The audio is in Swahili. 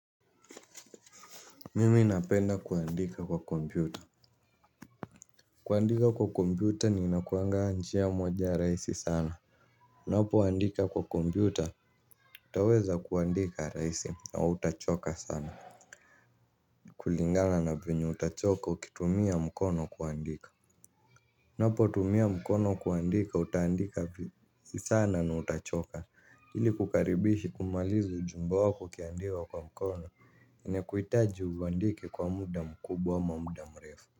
Mimi napenda kuandika kwa kompyuta. Kuandika kwa kompyuta ni inakuanga njia moja rahisi sana unapo andika kwa kompyuta, utaweza kuandika rahisi na hutachoka sana. Kulingana na venye utachoka, ukitumia mkono kuandika unapo tumia mkono kuandika, utaandika v sana na utachoka ili kukaribishi kumaliza ujumbe wako ukiandika kwa mkono ina kuhitaji uandike kwa muda mkubwa ama muda mrefu.